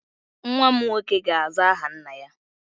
Nwa m nwoke ga-aza aha nna-ya